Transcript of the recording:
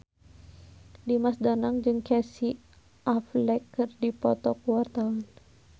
Dimas Danang jeung Casey Affleck keur dipoto ku wartawan